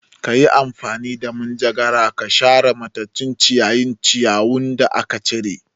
Kayi amfani da manjagara ka share matattun ciyayin ciyawin da aka cire